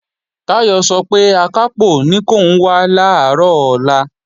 Táyọ̀ sọ pé Akápò ní kòun wá làárọ̀ ọ̀la